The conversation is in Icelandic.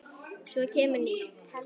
Svo kemur nýtt.